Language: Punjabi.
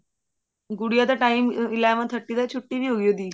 ਗੂਡੀਆ ਦਾ time eleven thirty ਦਾ ਛੁੱਟੀ ਵੀ ਹੋਗੀ ਉਹਦੀ